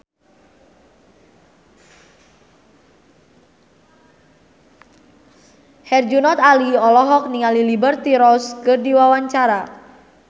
Herjunot Ali olohok ningali Liberty Ross keur diwawancara